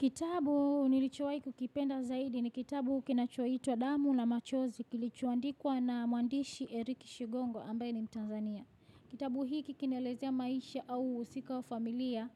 Kitabu nilichowahi kukipenda zaidi ni kitabu kinachoitwa damu na machozi kilichoandikwa na muandishi Eric Shigongo ambaye ni mtanzania. Kitabu hiki kinaelezea maisha au husika wa familia